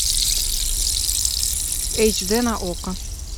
эйч д на окко